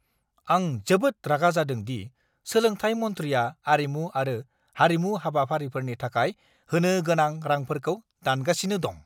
आं जोबोद रागा जादों दि सोलोंथाय मन्थ्रिया आरिमु आरो हारिमु हाबाफारिफोरनि थाखाय होनो गोनां रांफोरखौ दानगासिनो दं!